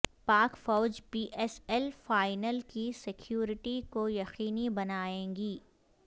پاک فوج P S L final کی سیکورٹی کو یقینی بنائے گی